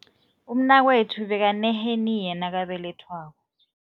Umnakwethu bekaneheniya nakabelethwako.